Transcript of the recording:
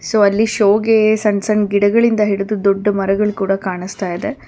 So ಅಲ್ಲಿ ಶೋ ಗೆ ಸಣ್ ಸಣ್ ಗಿಡಗಳಿಂದ ಹಿಡಿದು ದೊಡ್ಡ ಮರಗಳ್ ಕೂಡ ಕಾಣಿಸ್ತಾ ಇದೆ.